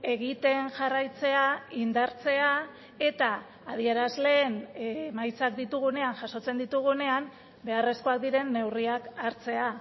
egiten jarraitzea indartzea eta adierazleen emaitzak ditugunean jasotzen ditugunean beharrezkoak diren neurriak hartzea